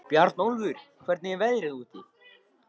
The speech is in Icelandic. Bjarnólfur, hvernig er veðrið úti?